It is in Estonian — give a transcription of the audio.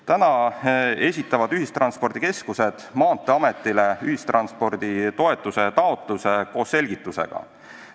Praegu esitavad ühistranspordikeskused Maanteeametile ühistransporditoetuse taotluse koos selgitusega.